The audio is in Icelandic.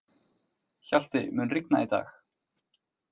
Hjalti, mun rigna í dag?